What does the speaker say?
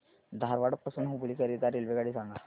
धारवाड पासून हुबळी करीता रेल्वेगाडी सांगा